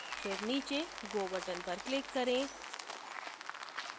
फिर नीचे go button पर click करें